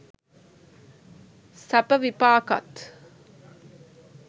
සැප විපාකත්